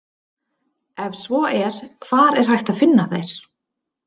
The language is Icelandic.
Ef svo er hvar er hægt að finna þær?